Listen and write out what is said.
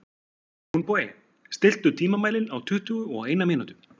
Húnbogi, stilltu tímamælinn á tuttugu og eina mínútur.